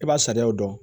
I b'a sariyaw dɔn